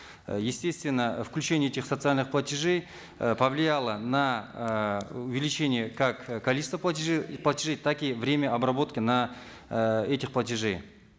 э естественно включение этих социальных платежей э повлияло на э увеличение как количества платежей платежи так и время обработки на э этих платежей